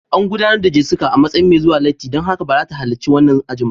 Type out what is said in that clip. An gudanar da Jessica a matsayin mai zuwa latti, don haka ba za ta halarci wannan aji ba